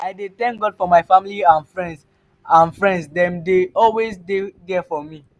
i dey thank god for my family and friends and friends dem dey always dey there for me.